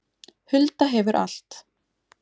Hulda hefur allt